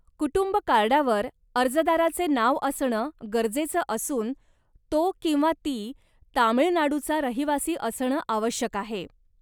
कुटुंब कार्डावर अर्जदाराचे नाव असणं गरजेचं असून, तो किंवा ती तामिळनाडूचा रहिवासी असणं आवश्यक आहे.